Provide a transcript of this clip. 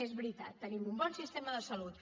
és veritat tenim un bon sistema de salut